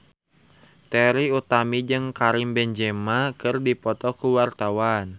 Trie Utami jeung Karim Benzema keur dipoto ku wartawan